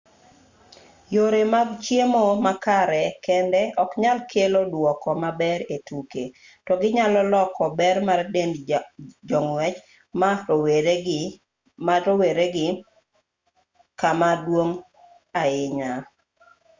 yore mag chiemo makare kende oknyal kelo duoko maber e tuke to ginyalo loko ber mar dend jong'wech ma rowere gi kama duong' ahinya